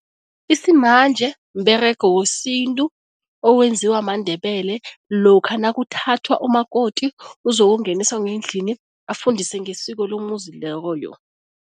Isimanje mberego wesintu owenziwa maNdebele lokha nakuthathwa umakoti, uzokungeniswa ngendlini afundiswe ngesiko lomuzi loyo.